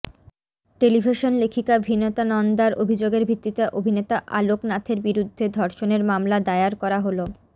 television লেখিকা ভিনতা নন্দার অভিযোগের ভিত্তিতে অভিনেতা আলোক নাথের বিরুদ্ধে ধর্ষণের মামলা দায়ার করা হল